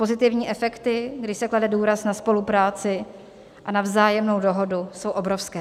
Pozitivní efekty, kdy se klade důraz na spolupráci a na vzájemnou dohodu, jsou obrovské.